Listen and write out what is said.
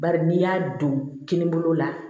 Bari n'i y'a don kini bolo la